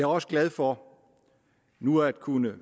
også glad for nu at kunne